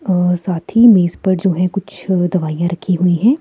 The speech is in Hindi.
और साथ ही मेज पर जो है कुछ दवाइयाँ रखी हुई हैं।